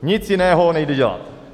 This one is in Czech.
Nic jiného nejde dělat.